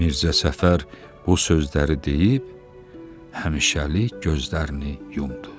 Mirzə Səfər bu sözləri deyib həmişəlik gözlərini yumdu.